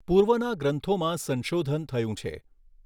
પૂર્વના ગ્રંથોમાં સંશોધન થયું છે.